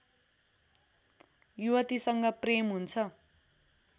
युवतीसँग प्रेम हुन्छ